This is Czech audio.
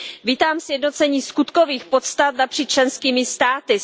Vítám sjednocení skutkových podstat napříč členskými státy.